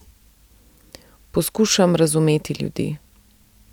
Poskušam razumeti ljudi.